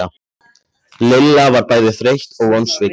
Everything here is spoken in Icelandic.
Lilla var bæði þreytt og vonsvikin.